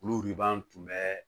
Olu wiban tun bɛ